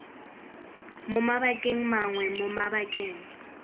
mo mabakeng mangwe mo mabakeng